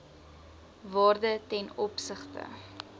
waarde ten opsigte